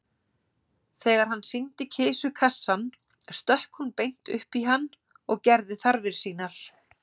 Þegar hann sýndi kisu kassann stökk hún beint upp í hann og gerði þarfir sínar.